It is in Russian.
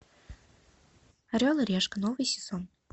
орел и решка новый сезон